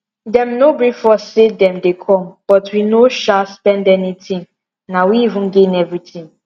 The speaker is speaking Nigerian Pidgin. dem no brief us say dem dey come but we no sha spend anything na we even gain everything